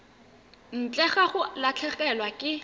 ntle ga go latlhegelwa ke